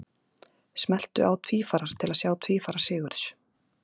Smelltu á Tvífarar til að sjá tvífara Sigurðs.